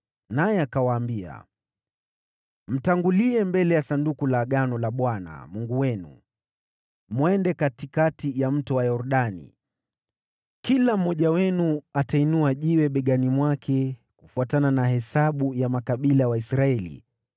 naye akawaambia, “Mtangulie mbele ya Sanduku la Bwana Mungu wenu, mwende katikati ya Mto Yordani. Kila mmoja wenu atainua jiwe begani mwake, kufuatana na hesabu ya makabila ya Waisraeli,